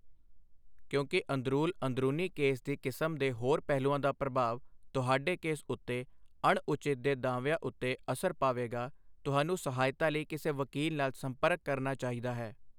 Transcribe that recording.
ਕਿਉਂਕਿ ਅੰਦਰੂਲ ਅੰਦਰੂਨੀ ਕੇਸ ਦੀ ਕਿਸਮ ਦੇ ਹੋਰ ਪਹਿਲੂਆਂ ਦਾ ਪ੍ਰਭਾਵ ਤੁਹਾਡੇ ਕੇਸ ਉੱਤੇ ਅਣਉਚਿਤ ਦੇ ਦਾਅਵਿਆਂ ਉੱਤੇ ਅਸਰ ਪਾਵੇਗਾ ਤੁਹਾਨੂੰ ਸਹਾਇਤਾ ਲਈ ਕਿਸੇ ਵਕੀਲ ਨਾਲ ਸੰਪਰਕ ਕਰਨਾ ਚਾਹੀਦਾ ਹੈ।